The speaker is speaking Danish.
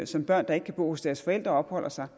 som børn der ikke kan bo hos deres forældre opholder sig